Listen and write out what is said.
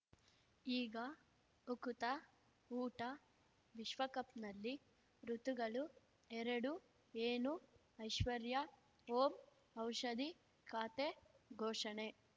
ಈಗ ಉಕುತ ಊಟ ವಿಶ್ವಕಪ್‌ನಲ್ಲಿ ಋತುಗಳು ಎರಡು ಏನು ಐಶ್ವರ್ಯಾ ಓಂ ಔಷಧಿ ಖಾತೆ ಘೋಷಣೆ